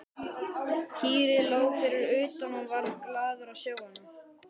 Týri lá fyrir utan og varð glaður að sjá hana.